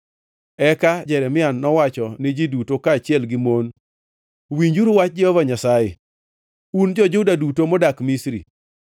Eka Jeremia nowachone ji duto, kaachiel gi mon, “Winjuru wach Jehova Nyasaye, un jo-Juda duto modak Misri.